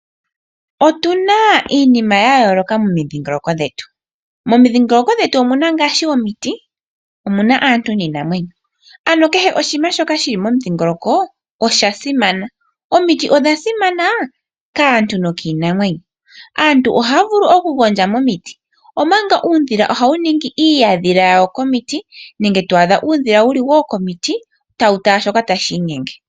Otuna iinima ya yooloka momidhiingoloko dhetu, momidhingoloko dhetu omuna ngaashi omiti, aantu niinamwenyo. Kehe oshinima shili momudhingoloko osha simana omiti odha simana kaantu nokiinamwenyo. Aantu ohaya vulu okugondja momiti omanga uudhila ohawu ningi iihadhila yawo komiti, nenge twaadha uudhila wuli komiti tawu tala shoka tashi inyenge.